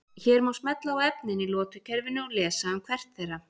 Hér má smella á efnin í lotukerfinu og lesa um hvert þeirra.